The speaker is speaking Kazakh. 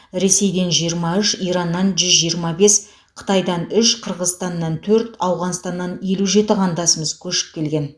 ресейден жиырма үш ираннан жүз жиырма бес қытайдан үш қырғызстаннан төрт ауғанстаннан елу жеті қандасымыз көшіп келген